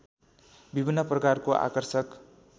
विभिन्न प्रकारको आकर्षक